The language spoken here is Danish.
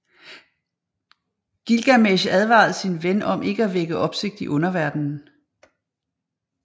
Gilgamesh advarede sin ven om ikke at vække opsigt i underverdenen